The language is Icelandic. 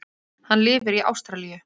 Hann lifir í Ástralíu.